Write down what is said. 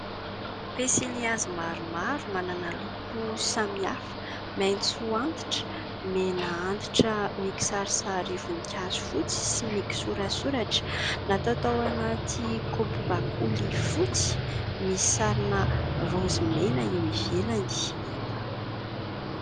Pensilihazo maromaro manana loko samy hafa, maitso antitra, mena antitra mikisarisary voninkazo fotsy sy mikisoratsoratra. Natao tao anaty kaopy bakoly fotsy misy sarina raozy mena eo ivelany.